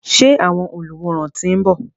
Ṣé àwọn olùwòran ti ń bọ̀?